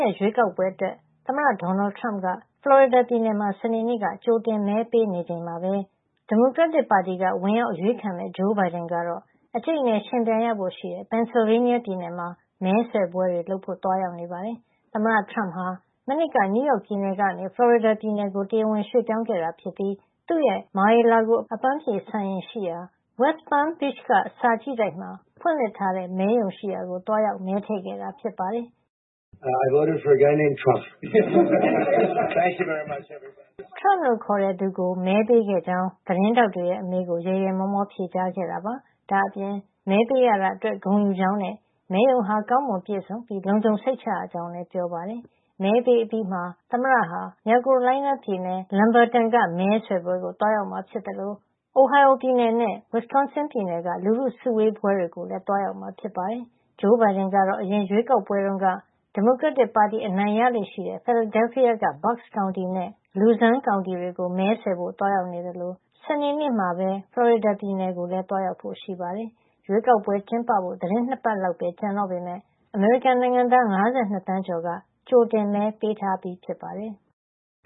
ရက် ရွေးကောက်ပွဲအတွက် သမ္မတ Donald Trump က ဖလော်ရီဒါပြည်နယ်မှာ စနေနေ့က ကြိုတင်မဲပေးနေချိန်မှာပဲ ဒီမိုကရက်တစ်ပါတီက ဝင်ရောက်အရွေးခံမယ့် Joe Biden ကတော့ အကြိတ်အနယ် ယှဉ်ပြိုင်ရဖို့ရှိတဲ့ ပင်ဆယ်လ်ဗေးနီးယားပြည်နယ်မှာ မဲဆွယ်ပွဲတွေ လုပ်ဖို့ သွားရောက်နေပါတယ်။ သမ္မတ Trump ဟာ မနှစ်ကမှ နယူူးယောက်ပြည်နယ်ကနေ ဖလော်ရီဒါပြည်နယ်ကို တရားဝင်ပြောင်းရွှွေ့ခဲ့တာဖြစ်ပြီး သူ့ရဲ့ Mar-a-Lago အပန်းဖြေစံအိမ်ရှိရာ West Palm Beach က စာကြည့်တိုက်မှာ ဖွင့်လှစ်ထားတဲ့ မဲရုံရှိရာကို သွားရောက် မဲထည့်ခဲ့တာ ဖြစ်ပါတယ်။ Trump လို့ခေါ်တဲ့သူကို မဲပေးခဲ့ကြောင်း သတင်းထောက်တွေရဲ့ အမေးကို ရယ်ရယ်မောမော ဖြေကြားခဲ့တာပါ။ ဒါ့အပြင် မဲပေးရတာအတွက် ဂုဏ်ယူကြောင်းနဲ့ မဲရုံဟာ ကောင်းမွန်ပြည့်စုံပြီး လုံခြုံစိတ်ချရကြောင်းလည်း ပြောပါတယ်။ မဲပေးအပြီးမှာ သမ္မတဟာ မြောက်ကယ်ရိုလိုင်းနားပြည်နယ် Lumberton က မဲဆွယ်ပွဲကို သွားရောက်မှာဖြစ်သလို Ohio ပြည်နယ် Circleville နဲ့ Wisconsin ပြည်နယ် Waukesha မြို့ လူထုစုဝေးပွဲတွေကိုလည်း သွားရောက်မှာ ဖြစ်ပါတယ်။ Joe Biden ကတော့ အရင်ရွေးကောက်ပွဲတွေတုန်းက ဒီမိုကရက်တစ်ပါတီ အနိုင်ရလေ့ရှိတဲ့ Philadelphia က Bucks ကောင်တီနဲ့ Luzerne ကောင်တီတွေကို မဲဆွယ်ဖို့ သွားရောက်နေသလို စနေနေ့မှာပဲ ဖလော်ရီဒါ ပြည်နယ်ကိုလည်း သွားရောက်ဖို့ရှိပါတယ်။ ရွေးကောက်ပွဲကျင်းပဖို့ သီတင်း ၂ ပတ်လောက်ပဲ ကျန်တော့ပေမယ့် အမေရိကန်နိုင်ငံသား ၅၂ သန်းကျော်က ကြိုတင်မဲ ပေးထားပြီးဖြစ်ပါတယ်။